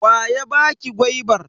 Wa ya baki gwaibar?